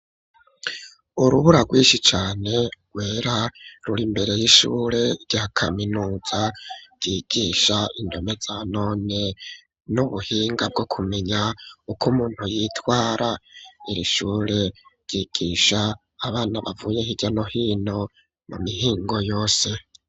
Urubura rwinshi cane rwera ruri imbere y'ishure rya kaminuza ryigisha indomeza none n'ubuhinga bwo kumenya uko umuntu yitwara. Iri shure ryigisha abana bavuye hirya no hino, mu mihingo yose.